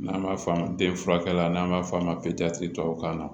N'an b'a f'a ma den furakɛla n'an b'a f'a ma tubabukan na